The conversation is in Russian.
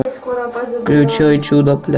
включай чудо